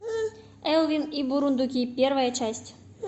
элвин и бурундуки первая часть